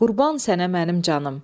Qurban sənə mənim canım.